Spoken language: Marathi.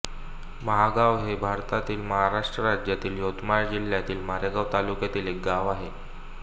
महागाव हे भारतातील महाराष्ट्र राज्यातील यवतमाळ जिल्ह्यातील मारेगांव तालुक्यातील एक गाव आहे